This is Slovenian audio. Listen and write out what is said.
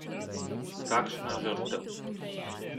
Kakšna žrtev?